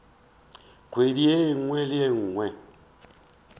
kgwedi ye nngwe le ye